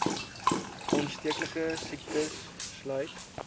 aansteeklike siektes sluit